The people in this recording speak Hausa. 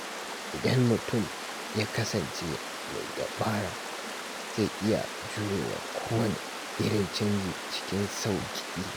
Idan mutum ya kasance mai dabara, zai iya jurewa kowanne irin canji cikin sauƙi.